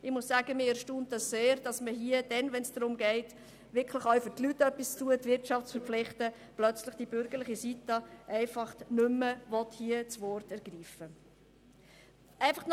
Mich erstaunt es sehr, dass die bürgerliche Seite plötzlich hier nicht mehr das Wort ergreifen will, wenn es darum geht, etwas für die Leute zu tun und die Wirtschaft in die Pflicht zu nehmen.